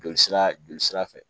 Joli sira joli sira fɛ